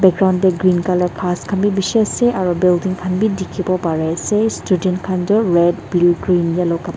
front dae green colour khas khan bi bishi asae aro building khan bi diki po pare asae student khan toh red blue green yellow kap.